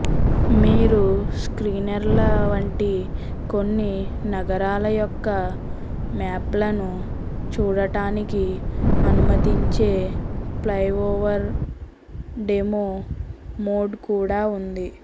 మీరు స్క్రీన్సేర్ల వంటి కొన్ని నగరాల యొక్క మ్యాప్లను చూడటానికి అనుమతించే ఫ్లైఓవర్ డెమో మోడ్ కూడా ఉంది